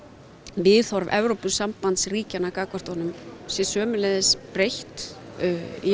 viðhorf Evrópusambandsríkjanna gagnvart honum sé sömuleiðis breytt í